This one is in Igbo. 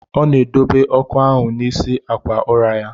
Ọ na edobe ọkụ ahụ n'isi akwa ụra ya.